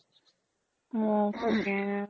উম